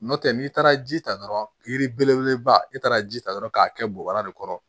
N'o tɛ n'i taara ji ta dɔrɔn yiri belebeleba i taara ji ta dɔrɔn k'a kɛ bubara de kɔrɔ